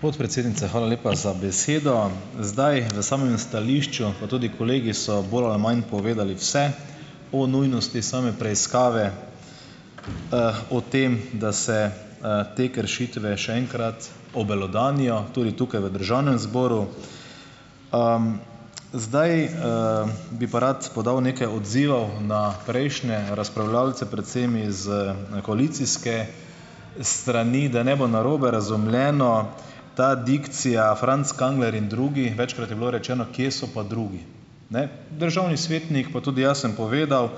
Podpredsednica, hvala lepa za besedo. Zdaj, v samem stališču pa tudi kolegi so bolj ali manj povedali vse, o nujnosti same preiskave, o tem, da se, te kršitve še enkrat obelodanijo, tudi tukaj v državnem zboru. zdaj, bi pa rad podal nekaj odzivov na prejšnje razpravljavce predvsem iz koalicijske strani, da ne bo narobe razumljeno. Ta dikcija, Franc Kangler in drugi, večkrat je bilo rečeno, kje so pa drugi. Ne, državni svetnik pa tudi jaz sem povedal,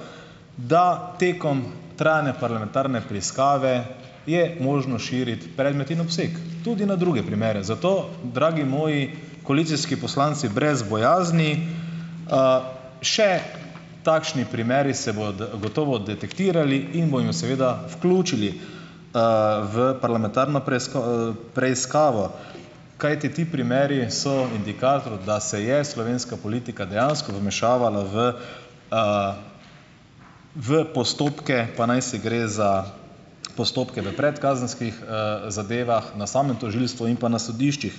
da tekom trajanja parlamentarne preiskave je možnost širiti predmet in obseg tudi na druge primere, zato, dragi moji koalicijski poslanci, brez bojazni, še takšni primeri se bodo gotovo detektirali in bomo jim seveda vključili, v parlamentarno preiskavo, kajti ti primeri so indikator, da se je slovenska politika dejansko vmešavala v, v postopke, pa najsi gre za postopke v predkazenskih, zadevah, na samem tožilstvu in pa na sodiščih.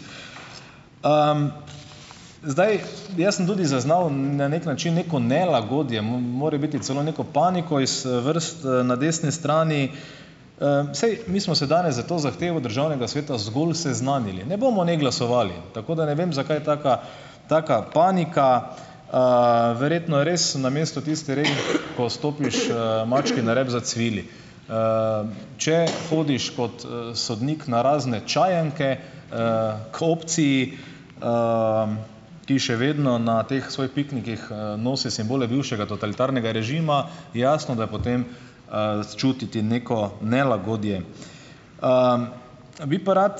Zdaj, jaz sem tudi zaznal na neki način neko nelagodje, morebiti celo neko paniko iz vrst na desni strani. Saj mi smo se danes s to zahtevo državnega sveta zgolj seznanili, ne bomo, ne, glasovali, tako da ne vem zakaj taka, taka panika. Verjetno je res na mestu tisti rek: "Ko stopiš mački na rep, zacvili." Če hodiš kot, sodnik na razne čajanke, k opciji, ki še vedno na teh svojih piknikih, nosi simbole bivšega totalitarnega režima je jasno, da je potem, čutiti neko nelagodje. Bi pa rad,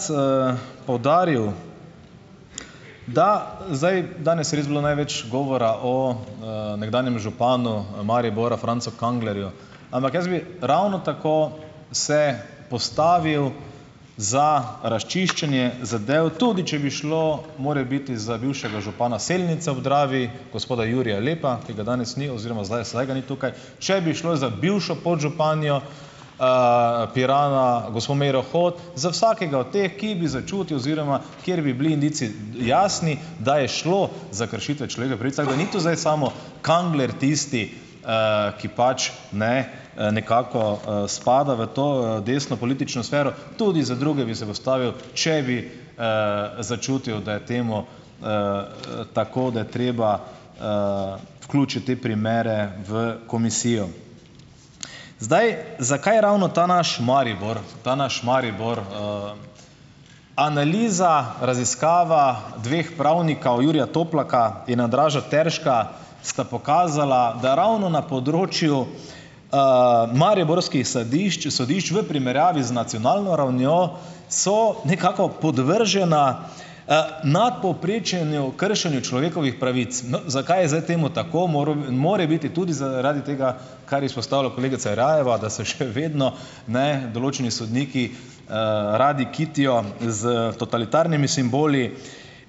poudaril, da zdaj danes je res bilo največ govora o, nekdanjem županu Maribora, Francu Kanglerju, ampak jaz bi ravno tako se postavil za razčiščenje zadev, tudi če bi šlo morebiti za bivšega župana Selnice ob Dravi, gospoda Jurija Lepa, ki ga danes ni oziroma zdaj vsaj ga ni tukaj, če bi šlo za bivšo podžupanjo, Pirana, gospo Meiro Hot, za vsakega od teh, ki bi začutil oziroma kjer bi bili indici jasni, da je šlo za kršitve človekovih pravic, tako da ni tu zdaj samo Kangler tisti, ki pač ne nekako, spada v to desno politično sfero, tudi za druge bi se postavil, če bi, začutil, da je temu, tako, da je treba, vključiti te primere v komisijo. Zdaj, zakaj ravno ta naš Maribor, ta naš Maribor? Analiza, raziskava dveh pravnikov, Jurija Toplaka in Andraža Terška, sta pokazala, da ravno na področju, mariborskih sadišč, sodišč v primerjavi z nacionalno ravnjo, so nekako podvržena, nadpovprečnem kršenju človekovih pravic. Zakaj je zdaj temu tako? more biti tudi zaradi tega, kar izpostavlja kolegica Jerajeva, da se še vedno, ne, določeni sodniki, radi kitijo s totalitarnimi simboli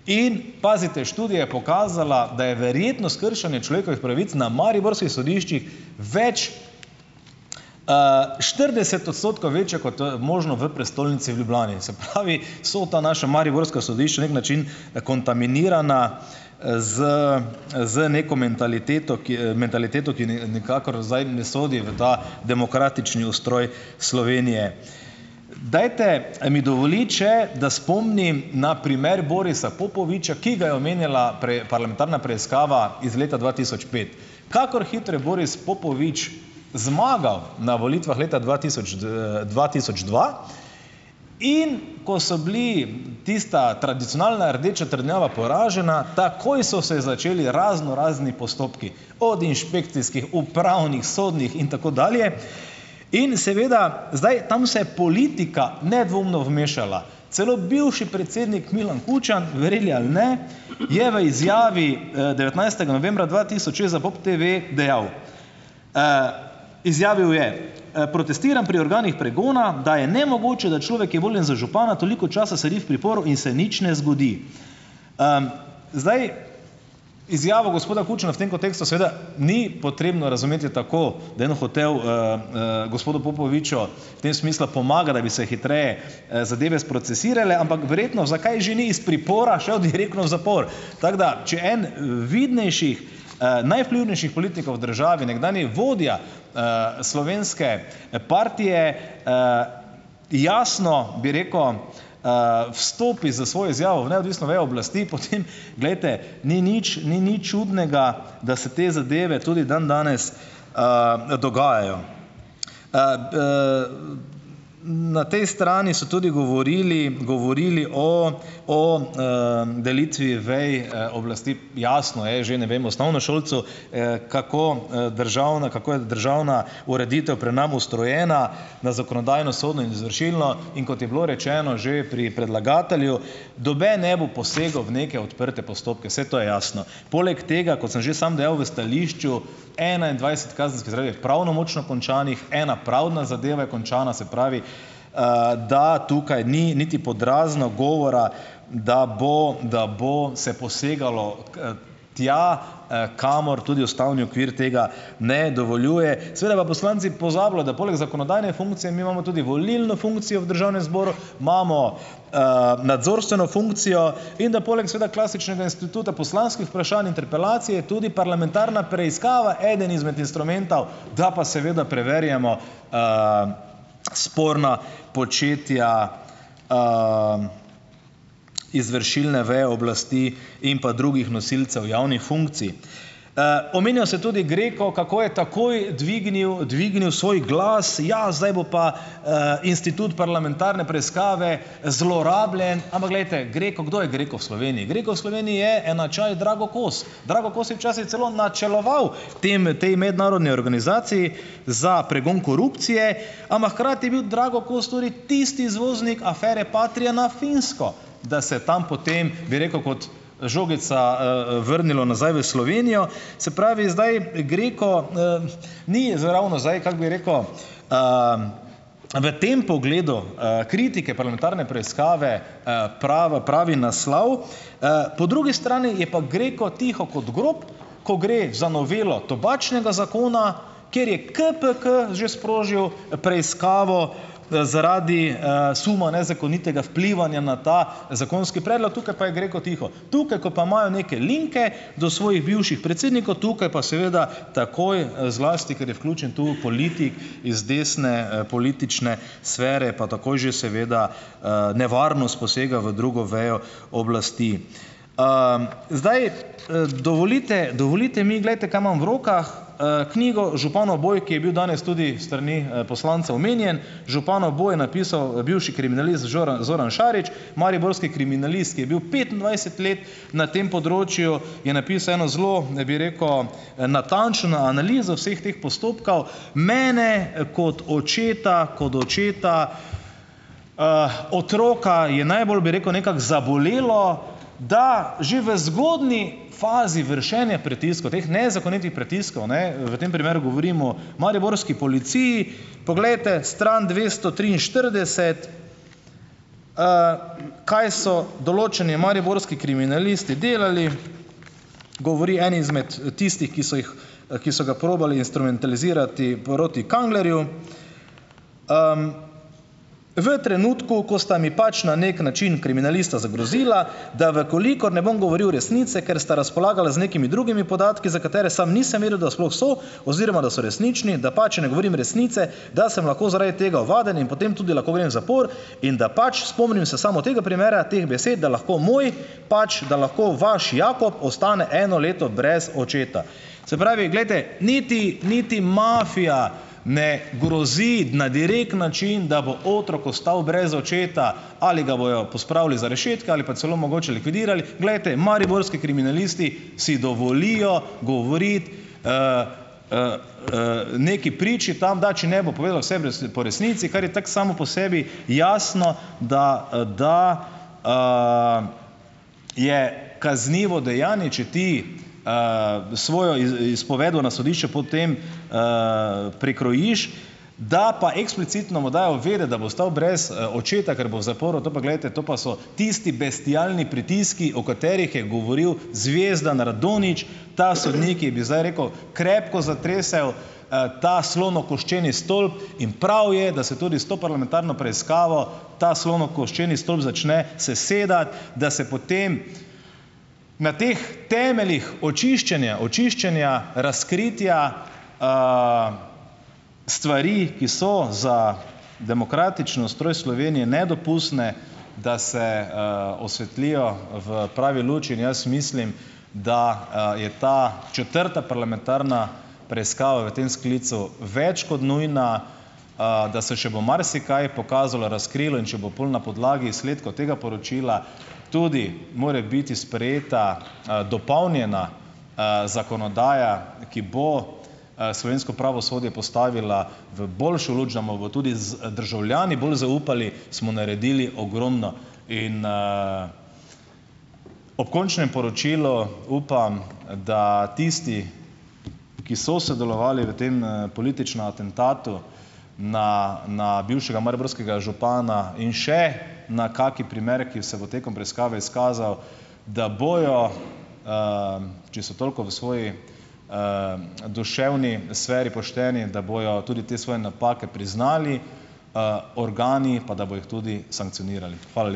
in pazite, študija je pokazala, da je verjetnost kršenja človekovih pravic na mariborskih sodiščih več, štirideset odstotkov večja kot, možno v prestolnici v Ljubljani. Se pravi, so ta naša mariborska sodišča na neki način kontaminirana, z, z neko mentaliteto, ki, mentaliteto, ki nikakor zdaj ne sodi v ta demokratični ustroj Slovenije. Dajte mi dovoliti še, da spomnim na primer Borisa Popoviča, ki ga je omenjala parlamentarna preiskava iz leta dva tisoč pet. Kakor hitro je Boris Popovič zmagal na volitvah leta dva tisoč dva tisoč dva, in ko so bili tista tradicionalna rdeča trdnjava poražena, takoj so se začeli raznorazni postopki, od inšpekcijskih, upravnih, sodnih in tako dalje, in seveda, zdaj tam se je politika nedvomno vmešala. Celo bivši predsednik Milan Kučan, verjeli ali ne, je v izjavi, devetnajstega novembra dva tisoč šest za Pop TT dejal, izjavil je: Protestiram pri organih pregona, da je nemogoče, da človek, ki je voljen za župana, toliko časa sedi v priporu in se nič ne zgodi." Zdaj, izjavo gospoda Kučana v tem kontekstu seveda ni potrebno razumeti tako, da je on hotel, gospodu Popoviču v tem smislu pomagati, da bi se hitreje, zadeve sprocesirale, ampak verjetno, zakaj že ni iz pripora šel direktno v zapor. Tako da, če en vidnejših, najvplivnejših politikov v državi, nekdanji vodja, slovenske partije, jasno, bi rekel, vstopi s svojo izjavo v neodvisno vejo oblasti, potem, glejte, ni nič ni nič čudnega, da se te zadeve tudi dandanes, dogajajo. Na tej strani so tudi govorili, govorili o, o, delitvi ve oblasti. Jasno je že, ne vem, osnovnošolcu, kako, državna, kako je državna ureditev pri nas ustrojena, na zakonodajno, sodno in izvršilno, in kot je bilo rečeno že pri predlagatelju, noben ne bo posegel v neke odprte postopke, saj to je jasno, poleg tega, kot sem že samo dejal v stališču, enaindvajset kazenskih zadev je pravnomočno končanih, ena pravdna zadeva je končana, se pravi, da tukaj ni niti pod razno govora, da bo, da bo se posegalo, tja, kamor tudi ustavni okvir tega ne dovoljuje. Seveda pa poslanci pozabljajo, da poleg zakonodajne funkcije mi imamo tudi volilno funkcijo v državnem zboru, imamo, nadzorstveno funkcijo in da poleg, seveda, klasičnega instituta poslanskih vprašanj, interpelacije tudi parlamentarna preiskava eden izmed instrumentov, da pa seveda preverjamo, sporna početja, izvršilne veje oblasti in pa drugih nosilcev javnih funkcij. Omenja se tudi GRECO, kako je takoj dvignil, dvignil svoj glas, ja, zdaj bo pa, institut parlamentarne preiskave zlorabljen, ampak, glejte, GRECO, kdo je GRECO v Sloveniji. GRECO v Sloveniji je enačaj Drago Kos. Drago Kos je včasih celo načeloval tem, tej mednarodni organizaciji za pregon korupcije, ampak hkrati je bil Drago Kos tudi tisti izvoznik afere Patria na Finsko, da se je tam potem, bi rekel, kot žogica, vrnilo nazaj v Slovenijo. Se pravi, zdaj GRECO, ni ravno zdaj, kako bi rekel, v tem pogledu, kritike parlamentarne preiskave, pravi naslov, Po drugi strani je pa GRECO tiho kot grob, ko gre za novelo tobačnega zakona, kjer je KPK že sprožil preiskavo, zaradi, suma nezakonitega vplivanja na ta zakonski predlog, tukaj pa je GRECO tiho. Tukaj, ko pa imajo neke linke do svojih bivših predsednikov, tukaj pa seveda takoj, zlasti, ker je vključen tu politik iz desne politične sfere, pa takoj že seveda, nevarnost posega v drugo vejo oblasti. zdaj, dovolite, dovolite mi, glejte, kaj imam v rokah, knjigo Županov boj, ki je bil danes tudi s strani, poslancev omenjen. Županov boj je napisal bivši kriminalist žoran Zorano Šarič, mariborski kriminalist, ki je bil petindvajset let na tem področju, je napisal eno zelo, bi rekel, natančno analizo vseh teh postopkov. Mene kot očeta kot očeta, otroka je najbolj, bi rekel, nekako zabolelo, da že v zgodnji fazi vršenja pritiskov, teh nezakonitih pritiskov, ne, v tem primeru govorim o mariborski policiji. Poglejte stran dvesto triinštirideset, kaj so določeni mariborski kriminalisti delali, govori en izmed tistih, ki so jih ki so ga probali instrumentalizirati proti Kanglerju. "V trenutku, ko sta mi pač na neki način kriminalista zagrozila, da v kolikor ne bom govoril resnice, ker sta razpolagala z nekimi drugimi podatki, za katere samo nisem vedel, da sploh so oziroma da so resnični, da pač ne govorim resnice, da sem lahko zaradi tega ovaden in potem tudi lahko grem v zapor in da pač, spomnim se samo tega primera, teh besed, da lahko moj pač, da lahko vaš Jakob ostane eno leto brez očeta." Se pravi, glejte, niti niti mafija ne grozi na direkten način, da bo otrok ostal brez očeta, ali ga bojo pospravili za rešetke ali pa celo mogoče likvidirali. Glejte, mariborski kriminalisti si dovolijo govoriti, neki priči tam, da če ne bo povedal vse v po resnici, kar je tako samo po sebi jasno, da, da, je kaznivo dejanje, če ti, svojo izpoved na sodišču potem, prikrojiš, da pa eksplicitno mu dajo vedeti, da bo ostal brez očeta, ker bo v zaporu, to pa, glejte, to pa so tisti bestialni pritiski, o katerih je govoril Zvezdan Radonjić. Ta sodnik, ki bi zdaj rekel, krepko zatresel, ta slonokoščeni stolp in prav je, da se tudi s to parlamentarno preiskavo, ta slonokoščeni stolp začne sesedati, da se potem na teh temeljih očiščenja, očiščenja razkritja, stvari, ki so za demokratičen ustroj Slovenije nedopustne, da se, osvetlijo v pravi luči in jaz mislim, da, je ta četrta parlamentarna preiskava v tem sklicu več kot nujna, da se še bo marsikaj pokazalo, razkrilo. In če bo pol na podlagi izsledkov tega poročila tudi morebiti sprejeta, dopolnjena, zakonodaja, ki bo, slovensko pravosodje postavila v boljšo luč, da bomo bo tudi z državljani bolj zaupali, smo naredili ogromno. In, ob končnem poročilu upam, da tisti, ki so sodelovali v tem, političnem atentatu na, na bivšega mariborskega župana in še na kakšen primer, ki se bo tekom preiskave izkazal, da bojo, če so toliko v svoji, duševni sferi pošteni, da bojo tudi te svoje napake priznali. Organi pa, da bojo jih tudi sankcionirali. Hvala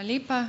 lepa.